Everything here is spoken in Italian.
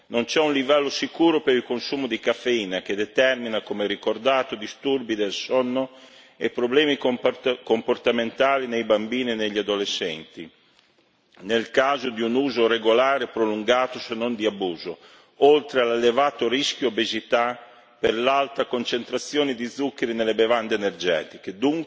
Non c'è un livello sicuro per il consumo di caffeina, che determina, come ricordato, disturbi del sonno e problemi comportamentali nei bambini e negli adolescenti. Nel caso di un uso regolare prolungato, se non di abuso, oltre all'elevato rischio obesità per l'alta concentrazione di zuccheri nelle bevande energetiche.